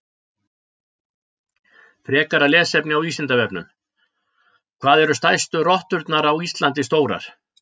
Frekara lesefni á Vísindavefnum: Hvað eru stærstu rotturnar á Íslandi stórar?